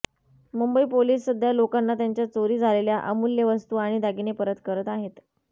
Mumbai police सध्या लोकांना त्यांच्या चोरी झालेल्या अमूल्य वस्तु आणि दागिने परत करत आहेत